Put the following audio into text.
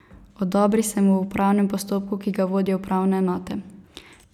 Odobri se mu v upravnem postopku, ki ga vodijo upravne enote.